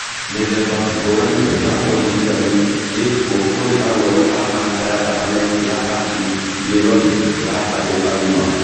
Mĩthemba ngũrani ya ũrigitani ĩkuo kũrĩ arũaru a kanca ya thakame ya acute myeloid ya andũ agima.